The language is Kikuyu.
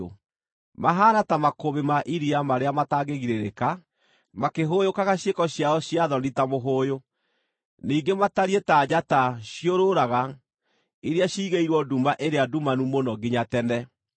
Mahaana ta makũmbĩ ma iria marĩa matangĩgirĩrĩka, makĩhũyũkaga ciĩko ciao cia thoni ta mũhũũyũ; ningĩ matariĩ ta njata ciũrũũraga, iria ciigĩirwo nduma ĩrĩa ndumanu mũno nginya tene.